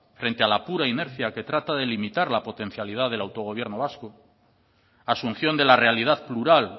frente a la pura inercia que trata de limitar la potencialidad del autogobierno vasco asunción de la realidad plural